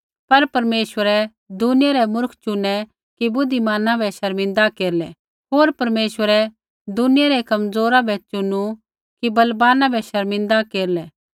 पर परमेश्वरै दुनिया रै मूर्ख चुनै कि बुद्धिमाना बै शर्मिंदा केरलै होर परमेश्वरै दुनिया रै कमज़ोरा बै चुनु कि बलवाना बै शर्मिंदा केरलै